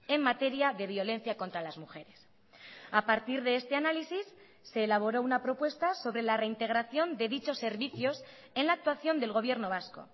en materia de violencia contra las mujeres a partir de este análisis se elaboró una propuesta sobre la reintegración de dichos servicios en la actuación del gobierno vasco